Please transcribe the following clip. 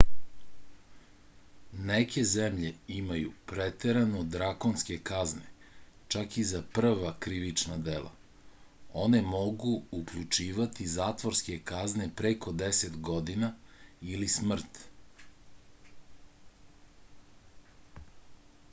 neke zemlje imaju preterano drakonske kazne čak i za prva krivična dela one mogu uključivati zatvorske kazne preko 10 godina ili smrt